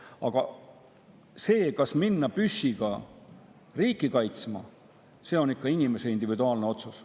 Aga see, kas minna püssiga riiki kaitsma, on ikka inimese individuaalne otsus.